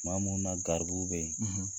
Tuma munnu na garibuw be ye